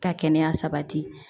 Ka kɛnɛya sabati